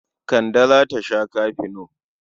Kande za ta sha kafino.